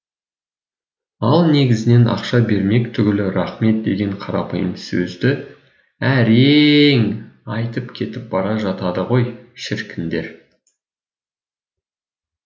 ал негізінен ақша бермек түгілі рақмет деген қарапайым сөзді әре е ең айтып кетіп бара жатады ғой шіркіндер